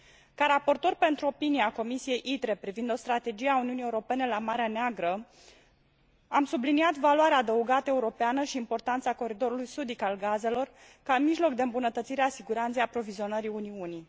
Ca raportor pentru opinie a Comisiei ITRE privind o strategie a Uniunii Europene la Marea Neagră, am subliniat valoarea adăugată europeană și importanța coridorului sudic al gazelor ca mijloc de îmbunătățire a siguranței aprovizionării Uniunii.